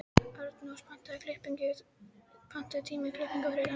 Arnrós, pantaðu tíma í klippingu á þriðjudaginn.